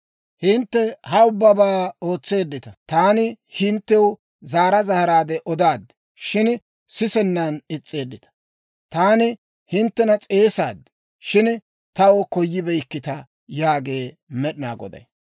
Hintte ha ubbabaa ootseeddita. Taani hinttew zaara zaaraadde odaad; shin sisennan is's'eeddita. Taani hinttena s'eesaad; shin taw koyibeykkita Yaagee Med'inaa Goday.